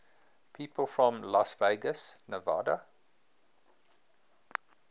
people from las vegas nevada